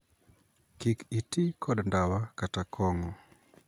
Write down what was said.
Kik itii kod ndawa kata kong'o.